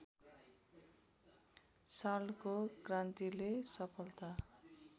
सालको क्रान्तिले सफलता